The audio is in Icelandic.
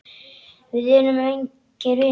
Við erum engir vinir.